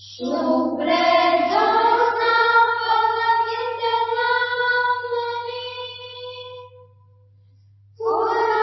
SujalanSuphalanMalayajsheetlam